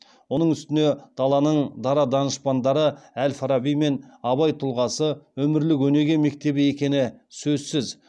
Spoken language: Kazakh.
оның үстіне даланың дара данышпандары әл фараби мен абай тұлғасы өмірлік өнеге мектебі екені сөзсіз